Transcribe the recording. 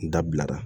N dabila